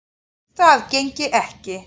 Það gengi ekki